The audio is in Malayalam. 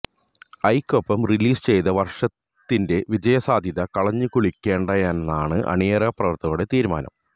ഐയ്ക്കൊപ്പം റിലീസ് ചെയ്ത് വർഷത്തിന്റെ വിജയസാധ്യത കളഞ്ഞുകുളിക്കേണ്ടന്നാണ് അണിയറ പ്രവർത്തകരുടെ തീരുമാനം